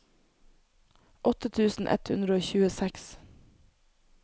åtte tusen ett hundre og tjueseks